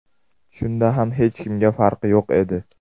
Shunda ham hech kimga farqi yo‘q edi.